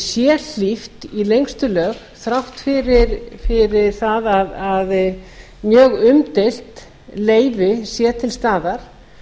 sé hlíft í lengstu lög þrátt fyrir það að mjög umdeilt leyfi sé til staðar